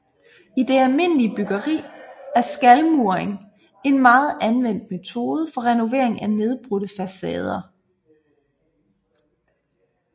I det almindelige byggeri er skalmuring en meget anvendt metode for renovering af nedbrudte facader